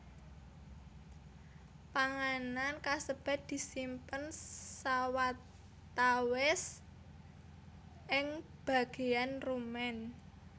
Panganan kasebat disimpen sawatawis ing bagéyan rumen